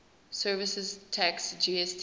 services tax gst